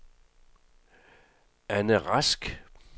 Ane Rask